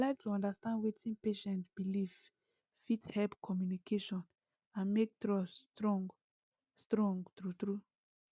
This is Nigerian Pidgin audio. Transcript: like to understand wetin patient believe fit help communication and make trust strong strong true true